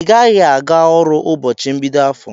Igaghi aga ọrụ ụbọchi mbido afọ!!